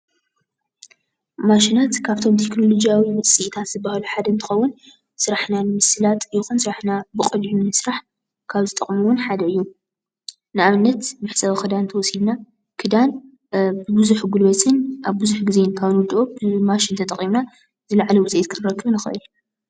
ማሽናት ካብቶም ተክኖሎጂ ውፅኢታት ዝባሃሉ ሓደ እንትኸውን ስራሕና ንምስላጥ ይኩን ስራሕና ብቀሊሉ ንምስራሕ ካብ ዝጠቅሙ ሓደ እዩ፡፡ ንኣብነት መሕፀቢ ክዳን እንተወሲድና ክዳን ብቡዙሕ ጉልበትን ኣብ ቡዙሕ ግዜን ካብ እንውድኦ ማሽን ተጠቂምና ዝለዓለ ውፅኢት ክነርክብ ንክእል፡፡